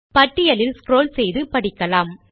பட்டியலில் ஸ்க்ரால் செய்து படிக்கலாம்